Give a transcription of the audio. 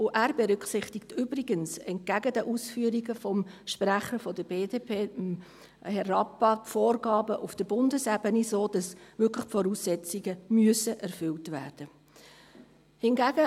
Er berücksichtigt übrigens, entgegen den Ausführungen des Sprechers der BDP, Herrn Rappa, die Vorgaben auf der Bundesebene, sodass die Voraussetzungen wirklich erfüllt werden müssen.